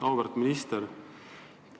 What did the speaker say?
Auväärt minister!